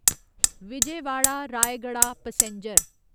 Vijayawada Rayagada passenger